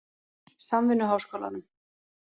Samvinnuháskólanum